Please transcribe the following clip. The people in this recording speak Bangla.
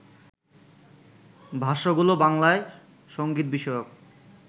ভাষ্যগুলো বাংলায় সংগীতবিষয়ক